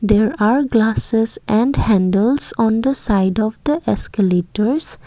there are glasses and handles on the side of the escalators.